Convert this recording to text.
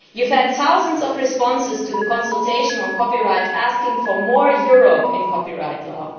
You have had thousands of responses to the consultation on copyright asking for more Europe in copyright law.